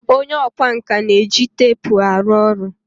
onye ọkwá nkà na-eji teepu arụ ọrụ